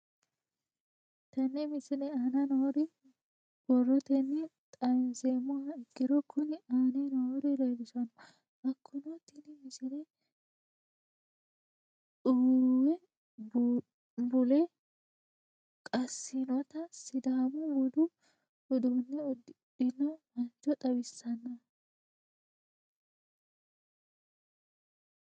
Tenne misile aana noore borrotenni xawisummoha ikirro kunni aane noore leelishano. Hakunno tinni misile uwuuwe bulle qaasinotta sidaamu budu udduune udidhinno mancho xawissanno.